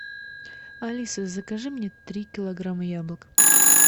алиса закажи мне три килограмма яблок